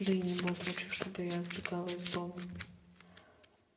да и не было случаев чтобы я сбегала из дома